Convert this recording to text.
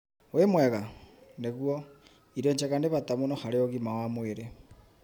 Wĩmwega. Nĩguo, irio njega nĩ bata mũno harĩ ũgima wa mwĩrĩ.